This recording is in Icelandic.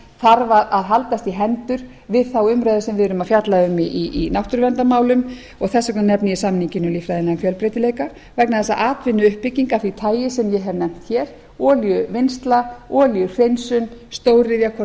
þarf að haldast í hendur við þá umræðu sem við erum að fjalla um í náttúruverndarmálum og þess vegna nefni ég samninginn um líffræðilegan fjölbreytileika vegna þess að atvinnuuppbygging af því tagi sem ég hef nefnt hér olíuvinnsla olíuhreinsun stóriðja hvort